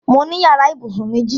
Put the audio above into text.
Mo ní yàrá ìbùsùn méjì.